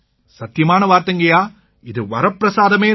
சத்தியமான வார்த்தைங்கய்யா இது வரப்பிரசாதமே தான்